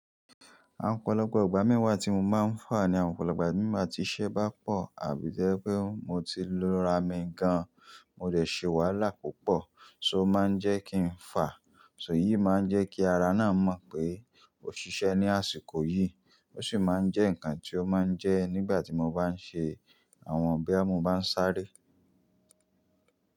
Àwọn ọ̀pọ̀lọpọ̀ ìgbà mí wà tí mo máa ń fà ni àwọn ọ̀pọ̀lọpọ̀ ìgbà nígbà tí iṣẹ́ bá pọ̀ àbí jẹ́ pé mo ti lora mi gan, mo dẹ̀ ṣe wàhálà púpọ̀, ṣó ma ń jẹ́ kí n fà. Ṣò eyì máa ń jẹ́ kí ara náà mọ̀ pé ó ṣiṣẹ́ ní àsìkò yìí, ó sì máa ń jẹ́ nǹkan tí ó máa ń jẹ́ nígbà tí mo bá ń ṣe àwọn ọ̀bẹ, mo bá ń sáré.